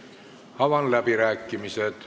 Avan läbirääkimised.